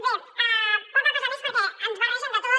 bé poca cosa més perquè ens barregen de tot